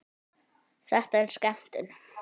Þetta er skemmtun